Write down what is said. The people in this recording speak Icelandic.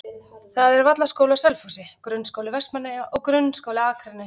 Það eru Vallaskóli á Selfossi, Grunnskóli Vestmannaeyja og Grundaskóli á Akranesi.